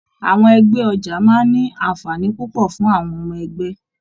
Àwọn ẹgbẹ ọja máa n ní anfààní púpọ̀ fún àwọn ọmọ ẹgbẹ.